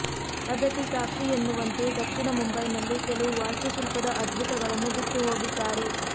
ಅದಕ್ಕೆ ಸಾಕ್ಷಿ ಎನ್ನುವಂತೆ ದಕ್ಷಿಣ ಮುಂಬೈ ನಲ್ಲಿ ಕೆಲವು ವಾಸ್ತು ಶಿಲ್ಪದ ಅದ್ಬುತಗಳನ್ನು ಬಿಟ್ಟು ಹೋಗಿದ್ದಾರೆ